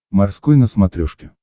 морской на смотрешке